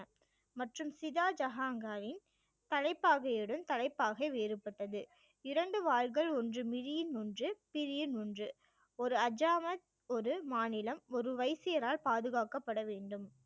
மற்றும் சீதா ஜஹாங்காரின் தலைப்பாகையுடன் தலைப்பாகை வேறுபட்டது இரண்டு வாள்கள் ஒன்று ஒன்று ஒன்று ஒரு அஜாமத் ஒரு மாநிலம் ஒரு வைசியரால் பாதுகாக்கப்பட வேண்டும்